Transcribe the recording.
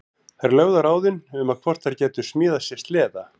Þær lögðu á ráðin um hvort þær gætu smíðað sér sleða.